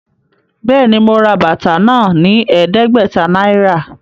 Béèni, mo rà bàtà náà ní ẹdẹgbẹta náírà